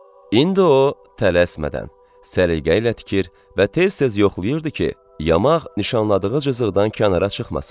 İndi o tələsmədən, səliqə ilə tikir və tez-tez yoxlayırdı ki, yamaq nişanladığı cızıqdan kənara çıxmasın.